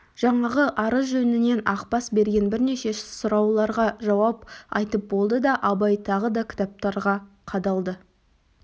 жаңағы арыз жөнінен ақбас берген бірнеше сұрауларға жауап айтып болды да абай тағы кітаптарға қадалды